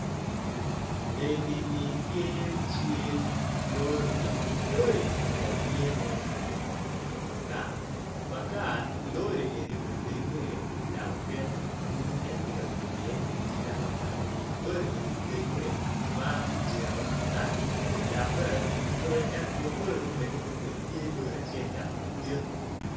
Enini tye cal lori, lori eni kono tye ma otingo makar lori eni olenge idaba pyen gudi ma en tye ka ngwec i ye ni tye idaba daba lori eni ojenge maki jingo ki tal dok bene obute eni i but lori ma olenge tung kuca tye lori acel madit.